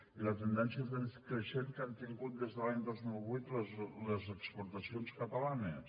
i la tendència creixent que han tingut des de l’any dos mil vuit les exportacions catalanes